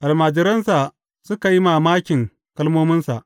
Almajiransa suka yi mamakin kalmominsa.